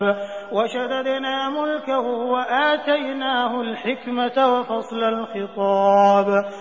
وَشَدَدْنَا مُلْكَهُ وَآتَيْنَاهُ الْحِكْمَةَ وَفَصْلَ الْخِطَابِ